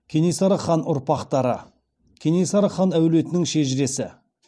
кенесары хан ұрпақтары кенесары хан әулетінің шежіресі